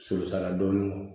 Sososala dɔɔnin